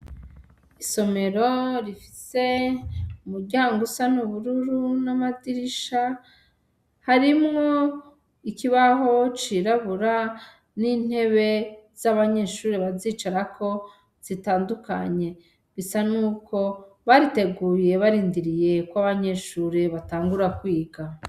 Isomero rifise umuryango usa n'ubururu n'amadirisha, harimwo ikibaho cirabura n'intebe z'abanyeshure, bazicarako zitandukanye. Bisa n'uko bariteguye barindiriye ko abanyeshure batangura kwiga.